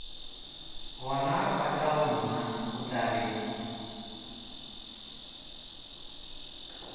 gona batlagonna o tla reng